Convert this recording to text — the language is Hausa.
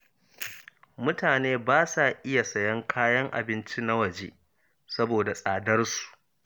Mutane basa iya sayan kayan abinci na waje saboda tsadar su.